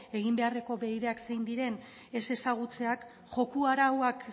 egin beharreko zein diren ez ezagutzeak joko arauak